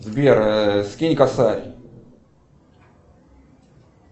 сбер скинь косарь